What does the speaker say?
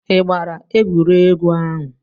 Ị gbara egwuregwu ahụ?